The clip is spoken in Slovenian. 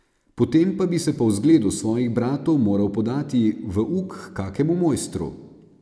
Potem pa bi se po vzgledu svojih bratov moral podati v uk h kakemu mojstru.